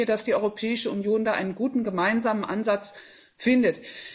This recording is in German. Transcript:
Ich wünsche mir, dass die Europäische Union da einen guten gemeinsamen Ansatz findet.